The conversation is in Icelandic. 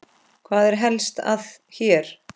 Hvað er helst að hér?